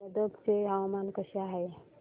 आज गदग चे हवामान कसे आहे